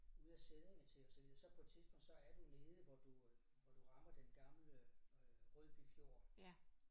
Ud af Sædinge til og så videre så på et tidspunkt så er du nede hvor du øh hvor du rammer den gamle øh Rødby Fjord